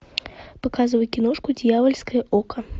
показывай киношку дьявольское око